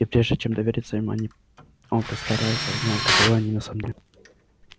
и прежде чем довериться им они он постарается узнать каковы они на самом деле